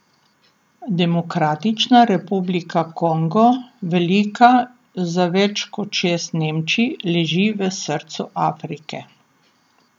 Demokratična republika Kongo, velika za več kot šest Nemčij, leži v srcu Afrike.